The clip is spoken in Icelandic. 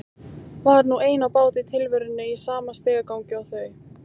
Var nú ein á báti í tilverunni í sama stigagangi og þau.